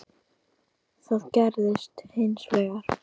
Það gerðist hins vegar.